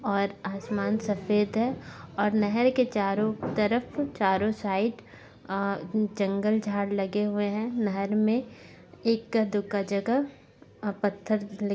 और आसमान सफेद है और नहर के चारों तरफ चारों साइड अ जंगल झाड़ लगे हुए हैं नहर में एका दूका जगह पत्थर ली --